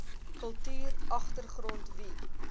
kultuur agtergrond wie